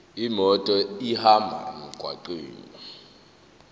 imoto ihambe emgwaqweni